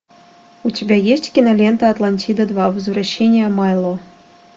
у тебя есть кинолента атлантида два возвращение майло